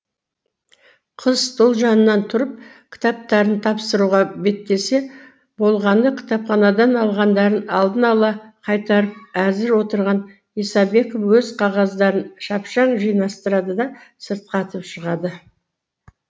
қыз стол жанынан тұрып кітаптарын тапсыруға беттесе болғаны кітапханадан алғандарын алдын ала қайтарып әзір отырған исабеков өз қағаздарын шапшаң жинастырады да сыртқа атып шығады